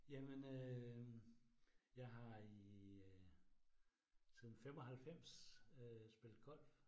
Jamen øh jeg har i øh siden 95 øh spillet golf